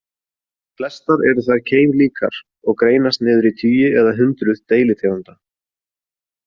Flestar eru þær keimlíkar og greinast niður í tugi eða hundruð deilitegunda.